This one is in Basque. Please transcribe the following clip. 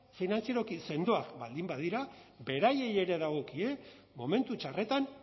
finantzieroki sendoak baldin badira beraiei ere dagokie momentu txarretan